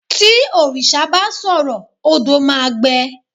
ti òrìṣà ba sọrọ, odo ma gbe